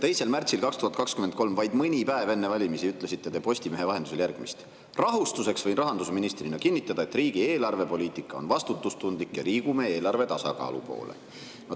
2. märtsil 2023, vaid mõni päev enne valimisi ütlesite te Postimehe vahendusel järgmist: "Rahustuseks võin rahandusministrina kinnitada, et riigi eelarvepoliitika on vastutustundlik ja liigume eelarve tasakaalu poole.